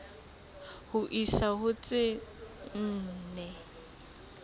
ho isa ho tse nne